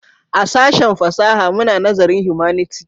A sashen fasaha muna nazarin Humanity